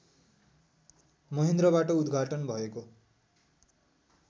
महेन्द्रबाट उद्घाटन भएको